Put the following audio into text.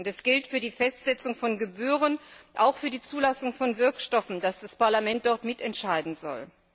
Es gilt für die Festsetzung von Gebühren und auch für die Zulassung von Wirkstoffen, dass das Parlament dort mitentscheiden soll.